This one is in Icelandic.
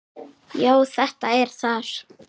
Já, þetta er þar